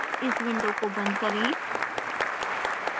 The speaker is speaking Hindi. इस window को बंद करें